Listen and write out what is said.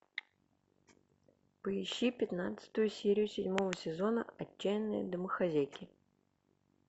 поищи пятнадцатую серию седьмого сезона отчаянные домохозяйки